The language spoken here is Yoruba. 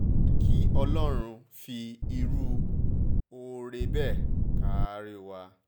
àfi kí ọlọ́run fi irú oore bẹ́ẹ̀ kárí wa